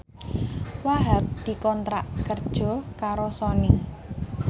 Wahhab dikontrak kerja karo Sony